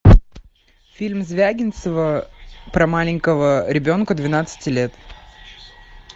фильм звягинцева про маленького ребенка двенадцати лет